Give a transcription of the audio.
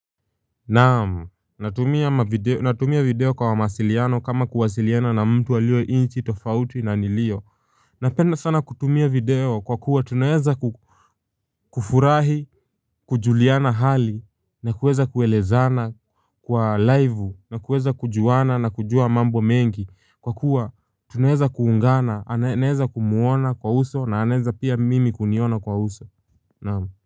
Naamu, natumia video kwa mawasiliano kama kuwasiliana na mtu alio nchi tofauti na nilio. Napenda sana kutumia video kwa kuwa tunaeza kufurahi kujuliana hali na kuweza kuelezana kwa live na kuweza kujuana na kujua mambo mengi kwa kuwa tunaeza kuungana naeza kumwona kwa uso na anaeza pia mimi kuniona kwa uso naamu.